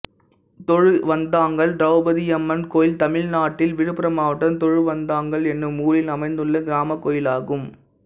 தொழுவந்தாங்கல் திரௌபதியம்மன் கோயில் தமிழ்நாட்டில் விழுப்புரம் மாவட்டம் தொழுவந்தாங்கல் என்னும் ஊரில் அமைந்துள்ள கிராமக் கோயிலாகும்